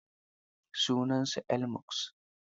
Sunansa Elon Musk.